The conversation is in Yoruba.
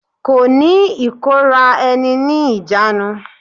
Kò ní ìkóra ẹni ní ìjánu.